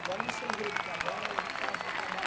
Agora eu encerrei o trabalho eu faço dagora eu trabalho.